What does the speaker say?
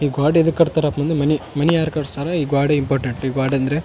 ಗೋಡೆದ್ ಕಟ್ಟ್ತಾರ ಮನಿ ಮನಿ ಯಾರ್ ಕಟ್ಟ್ಸಾರ ಈ ಗೋಡೆ ಇಂಪೋರ್ಟೇಂಟ್ ಈ ಗೋಡೆ ಅಂದ್ರೆ.